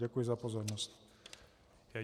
Děkuji za pozornost.